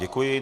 Děkuji.